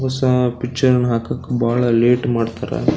ಹೊಸ ಪಿಕ್ಚರ್ ಅನ್ನ ಹಾಕಕ್ ಬಹಳ ಲೇಟ್ ಮಾಡ್ತಾರಾ.